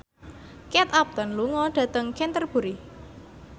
Kate Upton lunga dhateng Canterbury